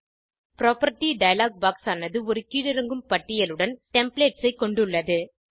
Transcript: property dialog box ஆனது ஒரு கீழிறங்கும் பட்டியலுடன் டெம்ப்ளேட்ஸ் ஐ கொண்டுள்ளது